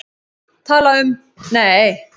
Tala um, nei!